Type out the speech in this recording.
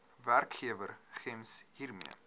werkgewer gems hiermee